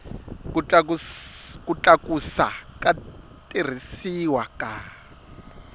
ku tlakusa ku tirhisiwa ka